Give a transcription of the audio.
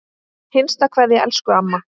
HINSTA KVEÐA Elsku amma.